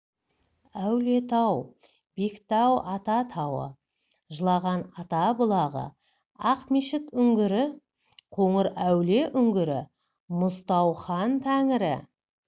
әулиетау бектау ата тауы жылаған ата бұлағы ақмешіт үңгірі қоңыр әулие үңгірі мұзтау хан тәңірі